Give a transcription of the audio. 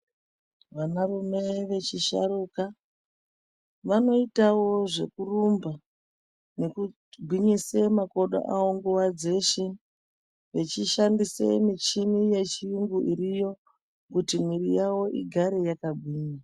Vanarume vechishuruka vanoitawo zvekurumba nekugwinyise makodo awo nguva dzeshe vechishandisa michini yechiyungu iriyo kuti muiri yavo igare yakagwinya.